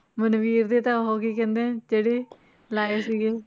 ਮਨਵੀਰ ਦੇ ਤਾਂ ਉਹ ਕੀ ਕਹਿੰਦੇ ਆਂ ਜਿਹੜੇ ਲਾਏ ਸੀਗੇ